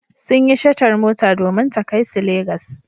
Sun yi shatar mota domin ta kai su Legas.